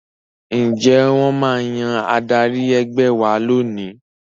Ǹjẹ́ wọ́n máa yan adarí ẹgbẹ́ wa lónìí